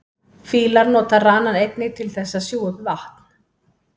fílar nota ranann einnig til þess að sjúga upp vatn